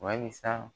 Walisa